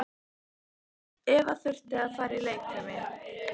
Eva þurfti að fara í leikfimi.